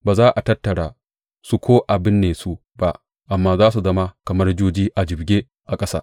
Ba za a tattara su ko a binne su ba, amma za su zama kamar juji a jibge a ƙasa.